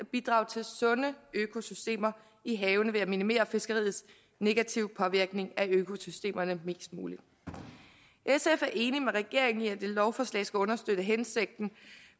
bidrage til sunde økosystemer i havene ved at minimere fiskeriets negative påvirkning af økosystemerne mest muligt sf er enig med regeringen i at det lovforslag skal understøtte hensigten